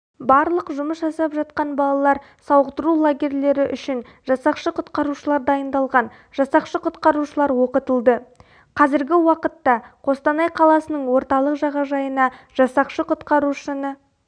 барлық жұмыс жасап жатқан балалар сауықтыру лагерлері үшін жасақшы құтқарушылар дайындалған жасақшы-құтқарушы оқытылды қазіргі уақытта қостанай қаласының орталық жағажайына жасақшы-құтқарушыны